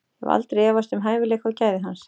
Ég hef aldrei efast um hæfileika og gæði hans.